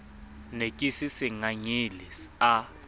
ne ke se sengangele a